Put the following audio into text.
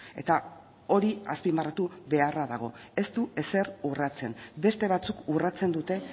eta hori azpimarratu beharra dago ez du ezer urratzen beste batzuk urratzen dute